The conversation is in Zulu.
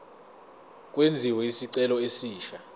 kwenziwe isicelo esisha